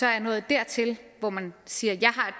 er nået dertil hvor man siger